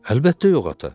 Əlbəttə yox ata.